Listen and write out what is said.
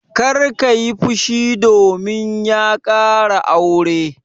Kar ka yi fushi domin ya ƙara aure!